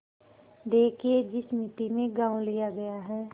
देखिए जिस मिती में गॉँव लिया गया है